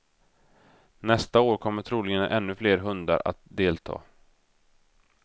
Nästa år kommer troligen ännu fler hundar att delta.